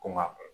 Ko n ga